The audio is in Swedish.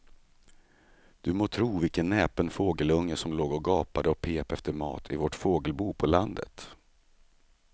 Du må tro vilken näpen fågelunge som låg och gapade och pep efter mat i vårt fågelbo på landet.